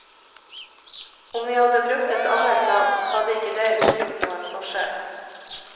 Om vi hadde brukt et annet navn, hadde ikke det utgjort noen forskjell.